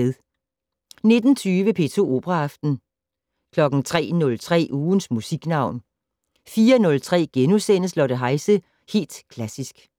19:20: P2 Operaaften 03:03: Ugens Musiknavn 04:03: Lotte Heise - Helt klassisk *